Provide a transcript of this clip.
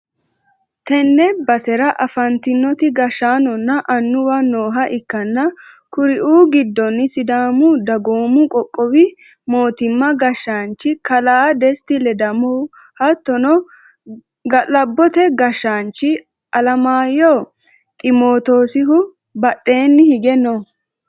tenne basera afantino gashshaanonna annuwi nooha ikkanna, kuri'u giddonni, sidaamu dagoomi qoqqowi mootimma gashshaanchi kalaa desitta ledamo hattono, galabbote gashshaanchi alemaayyo ximootosihu badhenni hige no.